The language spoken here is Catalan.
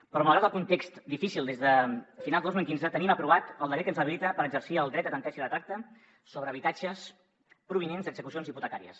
però malgrat el context difícil des de finals de dos mil quinze tenim aprovat el decret que ens habilita per exercir el dret a tanteig i retracte sobre habitatges provinents d’execucions hipotecàries